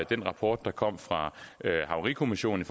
den rapport der kom fra havarikommissionen